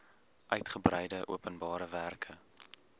uitgebreide openbare werke